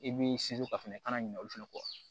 I b'i sinsin o kan i kana ɲina olu fana kɔ